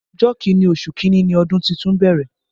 Ọjọ́ Kínní oṣù kinni ni ọdún tuntun bẹ̀rẹ̀